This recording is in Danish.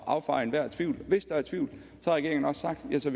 affeje enhver tvivl hvis der er tvivl har regeringen også sagt at så